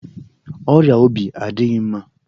Ọrịa obi adịghị mma